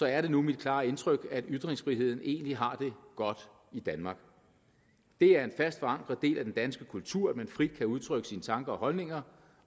er det nu mit klare indtryk at ytringsfriheden egentlig har det godt i danmark det er en fast forankret del af den danske kultur at man frit kan udtrykke sine tanker og holdninger